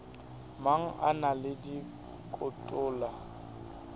mang a na le dikotola